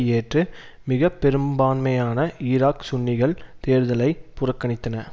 ஏற்று மிகப்பெரும்பான்மையான ஈராக் சுன்னிகள் தேர்தலை புறக்கணித்தன